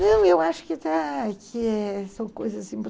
Não, eu acho que está, são coisas assim.